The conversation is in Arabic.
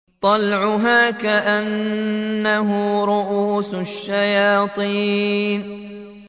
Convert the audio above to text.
طَلْعُهَا كَأَنَّهُ رُءُوسُ الشَّيَاطِينِ